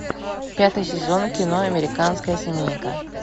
пятый сезон кино американская семейка